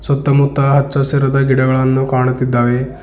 ಸುತ್ತಮುತ್ತ ಹಚ್ಚ ಹಸಿರಾದ ಗಿಡಗಳನ್ನು ಕಾಣುತ್ತಿದ್ದಾವೆ.